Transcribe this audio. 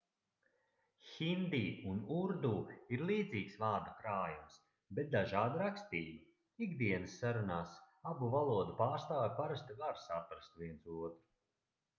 hindi un urdu ir līdzīgs vārdu krājums bet dažāda rakstība ikdienas sarunās abu valodu pārstāvji parasti var saprast viens otru